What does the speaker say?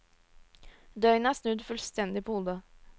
Døgnet er snudd fullstendig på hodet.